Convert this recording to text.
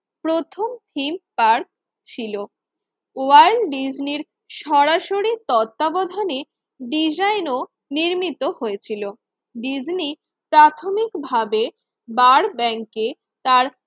প্রথম theme park ছিল। World ডিজনির সরাসরি তত্ত্বাবধানে ডিজাইন ও নির্মিত হয়েছিল ডিজনি প্রাথমিকভাবে বার ব্যাংকে তার